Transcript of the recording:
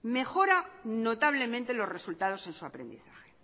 mejora notablemente los resultados en su aprendizaje